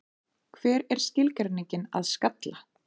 Hver er skilgreiningin að skalla?